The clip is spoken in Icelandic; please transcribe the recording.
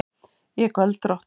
Ég er göldrótt.